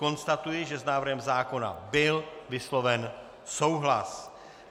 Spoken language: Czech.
Konstatuji, že s návrhem zákona byl vysloven souhlas.